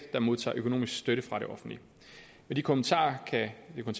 der modtager økonomisk støtte fra det offentlige med de kommentarer kan det